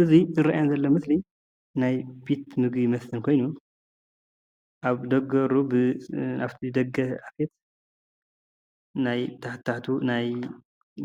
እታ ዝረኣየና ዘሎ ምስሊ ናይ ቤት ምግብን መስተን ኾይኑ ኣብ ደገ በሩ በ ኣፍቲ ደገ አፌት ናይ ታሕታ ታሕቱ ገና